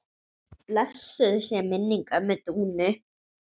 Blessuð sé minning ömmu Dúnu.